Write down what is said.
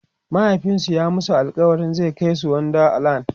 mahaifinsu ya masu alkawalin zai Kai su wonder land